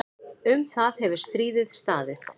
Um það hefur stríðið staðið.